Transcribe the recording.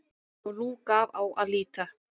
Og nú gaf á að líta.